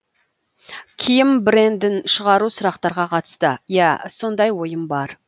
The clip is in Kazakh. киім брендін шығару сұрақтарға қатысты ия сондай ойым бар